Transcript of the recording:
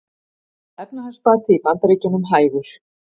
Efnahagsbati í Bandaríkjunum hægur